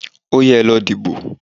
Óyá, ẹ lọ dìbò.